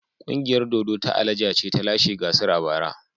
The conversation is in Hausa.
Ƙungiyar dodo ta Alaja ce ta lashe gasar a bara.